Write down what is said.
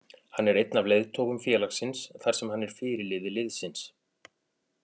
Hann er einn af leiðtogum félagsins þar sem hann er fyrirliði liðsins.